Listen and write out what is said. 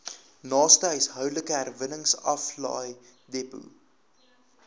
naaste huishoudelike herwinningsaflaaidepot